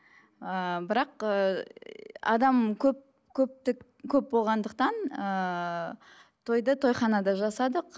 ыыы бірақ ыыы адам көп көптік көп болғандықтан ыыы тойды тойханада жасадық